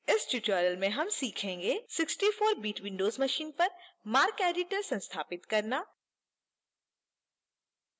इस tutorial में हम सीखेंगेः